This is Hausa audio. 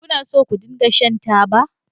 Kuna so ku daina shan taba?